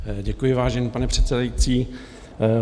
Děkuji, vážený pane předsedající.